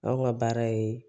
Anw ka baara ye